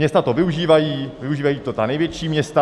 Města to využívají, využívají to ta největší města.